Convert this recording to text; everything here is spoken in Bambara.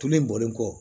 Tulu bɔlen kɔ